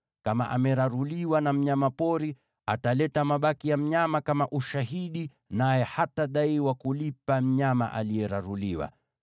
Kama ameraruliwa na mnyama pori, ataleta mabaki ya mnyama kama ushahidi, naye hatadaiwa kulipa mnyama aliyeraruliwa.